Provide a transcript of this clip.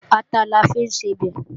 Ata la fi ń sebẹ̀